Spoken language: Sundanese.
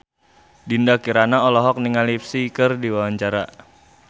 Dinda Kirana olohok ningali Psy keur diwawancara